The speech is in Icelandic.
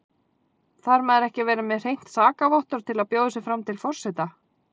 Þarf maður ekki að vera með hreint sakavottorð til að bjóða sig fram til forseta?